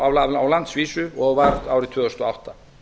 á landsvísu og var árið tvö þúsund og átta